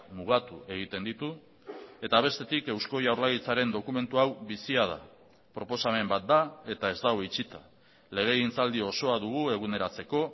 mugatu egiten ditu eta bestetik eusko jaurlaritzaren dokumentu hau bizia da proposamen bat da eta ez dago itxita legegintzaldi osoa dugu eguneratzeko